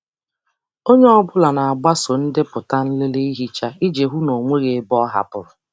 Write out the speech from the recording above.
Onye ọ bụla na-agbaso ndepụta nlele ihicha iji hụ na ọ nweghị ebe a hapụrụ.